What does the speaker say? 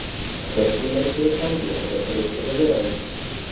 biz bundan keyin ham behuda kun o‘tkazaveramiz.